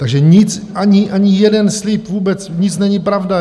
Takže nic, ani jeden slib, vůbec nic není pravda.